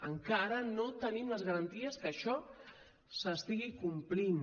encara no tenim les garanties que això s’estigui complint